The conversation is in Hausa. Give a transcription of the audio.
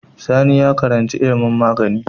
Sani ya karaci ilimin magani